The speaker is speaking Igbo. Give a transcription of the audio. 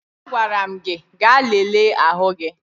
Agwara m gị ga lelee ahụ gị!